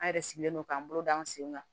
An yɛrɛ sigilen don k'an bolo da an sen kan